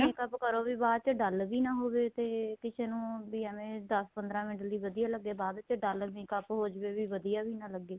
makeup ਕਰੋ ਵੀ ਬਾਅਦ ਚ dull ਵੀ ਨਾ ਹੋਵੇ ਤੇ ਕਿਸੇ ਨੂੰ ਵੀ ਐਵੇ ਦਸ ਪੰਦਰਾਂ ਮਿੰਟ ਲਈ ਵਧੀਆ ਲੱਗੇ ਬਾਅਦ ਚ dull makeup ਹੋ ਜਵੇ ਵੀ ਵਧੀਆ ਵੀ ਨਾ ਲੱਗੇ